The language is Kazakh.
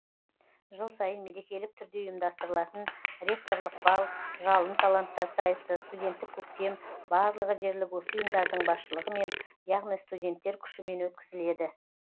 жыл сайын мерекелік түрде ұйымдастырылатын ректорлық бал жалын таланттар сайысы студенттік көктем барлығы дерлік осы ұйымдардың басшылығымен яғни студенттер күшімен өткізіледі